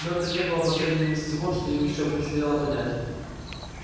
но это не было последним из всего что им ещё предстояло понять